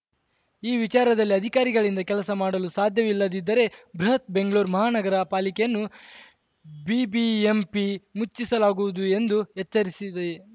ಈ ವಿಚಾರದಲ್ಲಿ ಅಧಿಕಾರಿಗಳಿಂದ ಕೆಲಸ ಮಾಡಲು ಸಾಧ್ಯವಿಲ್ಲದಿದ್ದರೆ ಬೃಹತ್‌ ಬೆಂಗಳೂರು ಮಹಾನಗರ ಪಾಲಿಕೆಯನ್ನು ಬಿಬಿಎಂಪಿ ಮುಚ್ಚಿಸಲಾಗುವುದು ಎಂದು ಎಚ್ಚರಿಸಿದೆ